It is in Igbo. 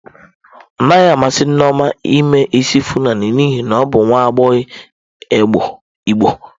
Ọ naghị amasị Nneoma ime isi fulani n'ihi na ọ bụ nwa agbọghọ igbo.